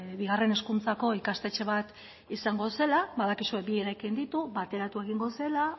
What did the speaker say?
bigarren hezkuntzako ikastetxe bat izango zela badakizue bi eraikin ditu bateratu egingo zela